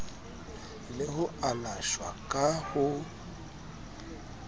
le ho alashwa ka ho